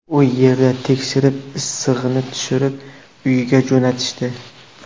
U yerda tekshirib, issig‘ini tushirib, uyga jo‘natishdi.